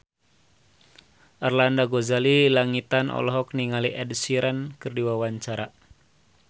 Arlanda Ghazali Langitan olohok ningali Ed Sheeran keur diwawancara